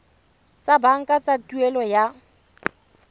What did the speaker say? tsa banka tsa tuelo ya